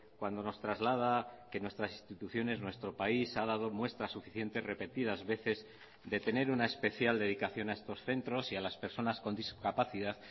cuando nos traslada que nuestras instituciones nuestro país ha dado muestras suficientes repetidas veces de tener una especial dedicación a estos centros y a las personas con discapacidad